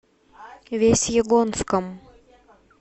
весьегонском